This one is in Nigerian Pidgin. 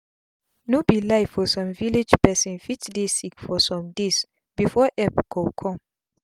no be lie for sum village pesin fit dey sick for sum days before epp go cum